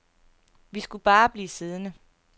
Vi skulle bare blive siddende.